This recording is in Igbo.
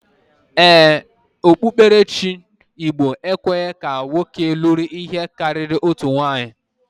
Ee, okpukperechi igbo ekwe ka nwoke luru ihe kariri otu nwunye.